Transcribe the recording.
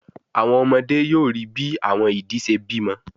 Àwọn ọmọdé yóò ríi bí àwọn idì ṣe bímọ